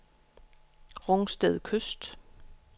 Rungsted Kyst